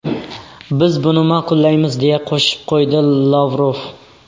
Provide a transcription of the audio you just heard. Biz buni ma’qullaymiz”, deya qo‘shib qo‘ydi Lavrov.